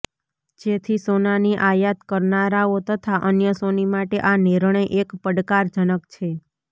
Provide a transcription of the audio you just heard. જેથી સોનાની આયાત કરનારાઓ તથા અન્ય સોની માટે આ નિર્ણય એક પડકારજનક છે